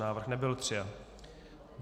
Návrh nebyl přijat.